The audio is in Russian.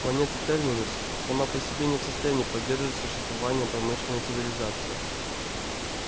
планета терминус сама по себе не в состоянии поддерживать существование промышленной цивилизации